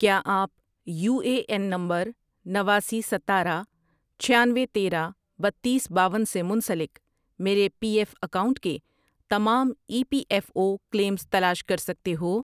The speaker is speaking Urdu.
کیا آپ یو اے این نمبر نواسی، ستارہ، چھیانوے، تیرہ، بتیس، باون سے منسلک میرے پی ایف اکاؤنٹؤنٹ کے تمام E P F O claims تلاش کر سکتے ہو